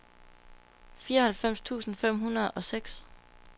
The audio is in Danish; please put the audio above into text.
fireoghalvfems tusind fem hundrede og seks